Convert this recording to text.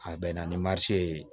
A bɛnna ni marise ye